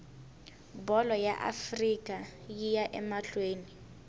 bholo ya afrika yiya amahleni